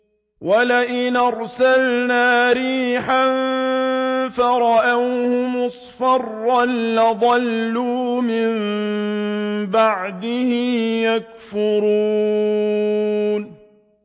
وَلَئِنْ أَرْسَلْنَا رِيحًا فَرَأَوْهُ مُصْفَرًّا لَّظَلُّوا مِن بَعْدِهِ يَكْفُرُونَ